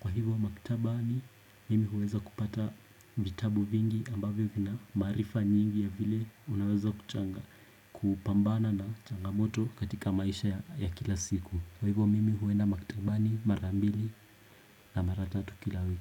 Kwa hivyo maktaba ni mimi huweza kupata vitabu vingi ambavyo vina maarifa nyingi ya vile unaweza kuchanga kupambana na changamoto katika maisha ya kila siku Kwa hivyo mimi huenda maktabani marambili na maratatu kila wiki.